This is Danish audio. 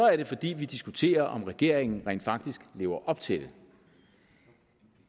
er det fordi vi diskuterer om regeringen rent faktisk lever op til det